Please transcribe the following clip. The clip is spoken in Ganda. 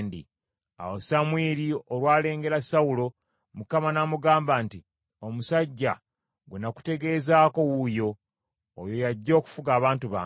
Awo Samwiri olwalengera Sawulo, Mukama n’amugamba nti, “Omusajja gwe nakutegeezezzaako wuuyo. Oyo y’ajja okufuga abantu bange.”